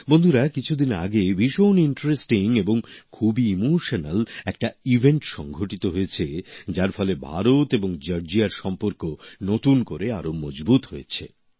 বন্ধুরা কিছুদিন আগে ভীষণ আকর্ষণীয় এবং খুবই আবেগময় একটা ঘটনা ঘটেছে যার ফলে ভারত এবং জর্জিয়ার সম্পর্ক নতুন করে আরো মজবুত হয়েছে